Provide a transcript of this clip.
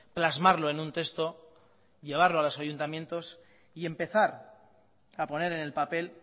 plasmarlo en un texto llevarlo a los ayuntamientos y empezar a poner en el papel